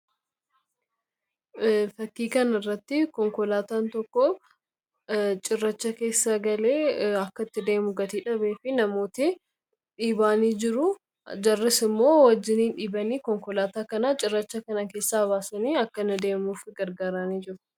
fakiikan irratti konkolaataan tokko cirracha keessaa galee akka tti deemu gatiidhabee fi namoota dhiibaanii jiru jarris immoo wajjinii dhiibanii konkolaataa kanaa cirracha kana keessaa baasanii akkana deemuuf gargaaraanii jiru